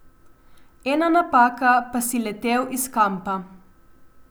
Ena napaka, pa si letel iz kampa.